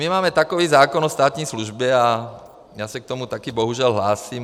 My máme takový zákon o státní službě, a já se k tomu také bohužel hlásím.